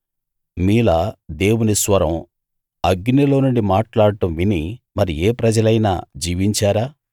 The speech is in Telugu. మీలా దేవుని స్వరం అగ్నిలో నుండి మాట్లాడడం విని మరి ఏ ప్రజలైనా జీవించారా